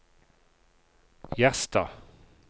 Gjerstad